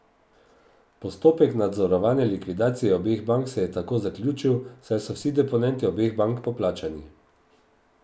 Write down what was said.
Postopek nadzorovane likvidacije obeh bank se je tako zaključil, saj so vsi deponenti obeh bank poplačani.